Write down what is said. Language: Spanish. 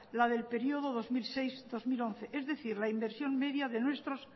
la del período dos mil seis dos mil once es decir la inversión media de nuestros